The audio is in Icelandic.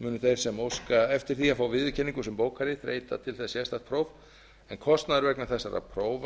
munu þeir sem óska eftir því að fá viðurkenningu sem bókari þreyta til þess sérstakt próf en kostnaður vegna þessara